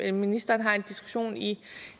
at ministeren har en diskussion i